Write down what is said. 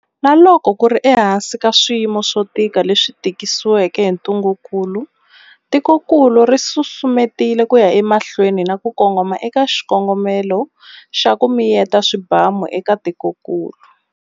Na loko ku ri ehansi ka swiyimo swo tika leswi tisiweke hi ntungukulu, tikokulu ri susumetile ku ya emahlweni na ku kongoma eka xikongomelo xa ku miyeta swibamu eka tikokulu.